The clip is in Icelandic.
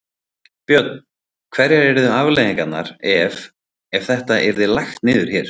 Björn: Hverjar yrðu afleiðingarnar ef, ef þetta yrði lagt niður hér?